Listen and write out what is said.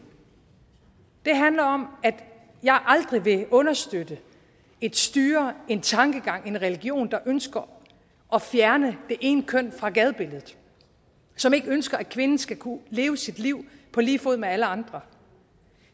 den handler om at jeg aldrig vil understøtte et styre en tankegang en religion der ønsker at fjerne det ene køn fra gadebilledet og som ikke ønsker at kvinden skal kunne leve sit liv på lige fod med alle andre